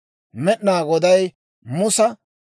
Med'inaa Goday Musa,